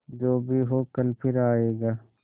जो भी हो कल फिर आएगा